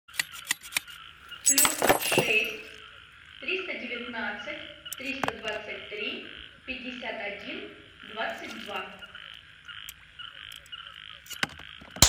плюс шесть триста девятнадцать триста двадцать три пятьдесят один двадцать два